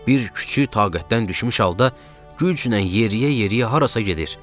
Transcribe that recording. Bir kiçik taqətdən düşmüş halda güclə yeriyə-yeriyə harasa gedir.